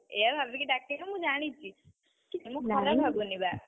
ଏୟା ଭାବିକି ଡାକିନୁ ମୁଁ ଜାଣିଚି। ମୁଁ ଭାବୁନି ବା।